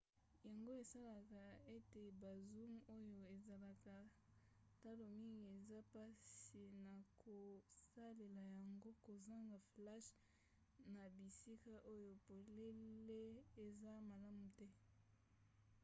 yango esalaka ete ba zoom oyo ezalaka talo mingi eza mpasi na kosalela yango kozanga flashe na bisika oyo polele eza malamu te